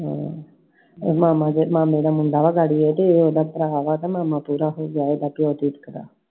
ਇਹ ਮਾਮਾ ਤੇ ਮਾਮੇ ਦਾ ਮੁੰਡਾ ਨਾ ਸਾਡੇ, ਇਹ ਤੇ ਇਹ ਇਹਦਾ ਭਰਾ ਹੈਗਾ ਮਾਮਾ ਕਿਹੜਾ ਹੁਣ ਜਾਏਗਾ ਕਿ ਇਹ ਝਿਜਕਦਾ I